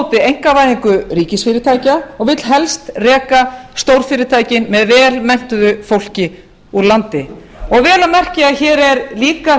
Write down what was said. á móti einkavæðingu ríkisfyrirtækja og vill helst reka stórfyrirtækin með vel menntuðu fólki úr landi og vel að merkja hér er líka